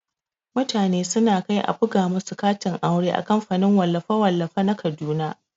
Mutane suna kai a buga musu katin aure a kamfanin wallafe-wallafe na kaduna.